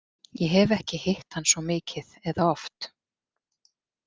Ég hef ekki hitt hann svo mikið eða oft.